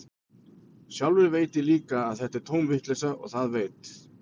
Sjálfur veit ég líka að þetta er tóm vitleysa, og það veit